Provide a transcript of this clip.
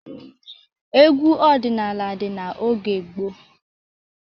Egwu ọdịnala dị n'oge gboo.